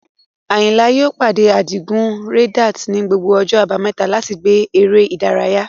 Ayinla yóò pàdé Adigun Reddit ní gbogbo ọjọ́ Àbámẹ́ta láti gbá eré ìdárayá.